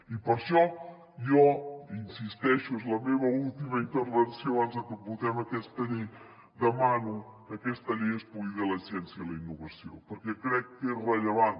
i per això jo hi insisteixo és la meva última intervenció abans de que votem aquesta llei demano que aquesta llei es cuidi de la ciència i la innovació perquè crec que és rellevant